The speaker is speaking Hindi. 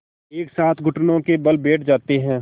एक साथ घुटनों के बल बैठ जाते हैं